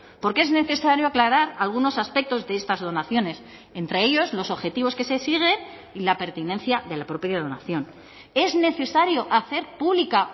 porque es necesario aclarar algunos aspectos de estas donaciones entre ellos los objetivos que se siguen y la pertinencia de la propia donación es necesario hacer pública